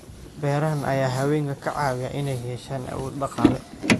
Beerahan ayaa haweenka ka caawiya inay yeeshaan awood dhaqaale.